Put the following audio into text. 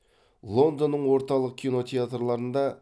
лондонның орталық кинотеатрларында